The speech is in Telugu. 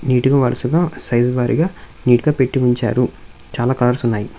నీటుగా వరుసగా సైజు వారిగా నీట్ గా పెట్టి ఉంచారు చాలా కలర్స్ ఉన్నాయి.